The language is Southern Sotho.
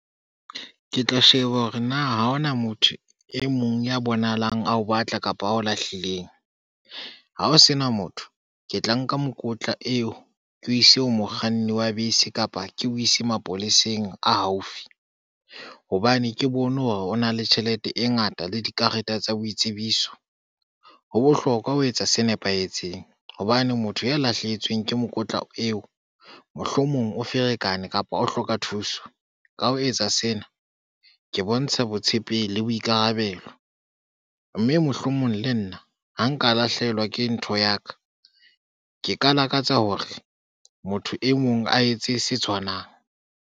Ke tla sheba hore na ha hona motho e mong ya bonahalang a ho batla kapa ha ho lahlileng, ha ho sena motho, ke tla nka mokotla eo ke o ise ho mokganni wa bese kapa ke o ise mapoleseng a haufi, hobane ke bone hore o na le tjhelete e ngata le dikarete tsa boitsebiso. Ho bohlokwa ho etsa se nepahetseng hobane motho ya lahlehetsweng ke mokotla eo mohlomong o ferekane kapa o hloka thuso. Ka ho etsa sena ke bontsha botshepehi le boikarabelo, mme mohlomong le nna ha nka lahlehelwa ke ntho ya ka. Ke ka lakatsa hore motho e mong a etse se tshwanang.